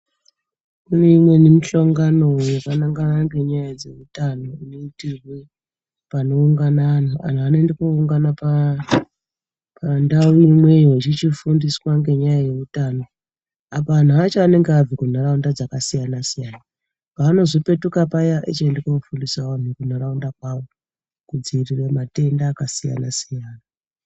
Kuneimweni muhlongano yakanangana nenyaya yedzeutano inoitirwe panoungana antu. Antu anoenda kuno ungana pandau imweyo achichifundiswa ngezve utano. Apa vantu vacho vanenge vabva kundau dzakasiyana siyana pavanozopetuka wo paya ochienda kuno fundisawo vantu muntaraunda kwavo kuitira kudzivirira matenda akasiyana siyana.